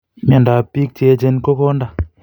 Miondab bik cheechen ko konda